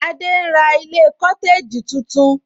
Adé ń ra ilé cotegi tuntun